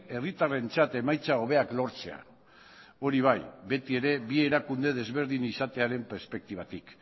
herritarrentzat emaitza hobeak lortzea hori bai beti ere bi erakunde desberdin izatearen perspektibatik